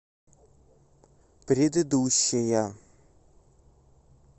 предыдущая